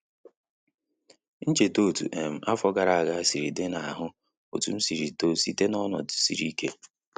M cheta otu um afọ gara aga sịrị di a na ahu otu m sịrị too site n'ọnọdụ sịrị ike